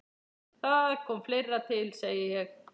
Það kom fleira til, segi ég.